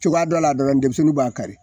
Cogoya dɔ la dɔlɔn denmisɛnninw b'a kari